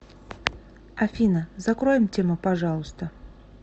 афина закроем тему пожалуйста